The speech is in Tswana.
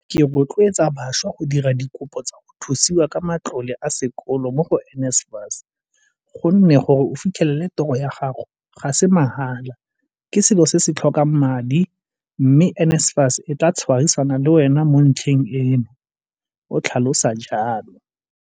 Ke rotleotsa bašwa go dira dikopo tsa go thusiwa ka matlole a sekolo mo go NSFAS gonne gore o fitlhe lele toro ya gago ga se ma hala, ke selo se se tlhokang madi, mme NSFAS e tla tshwarisana le wena mo ntlheng eno, o tlhalosa jalo.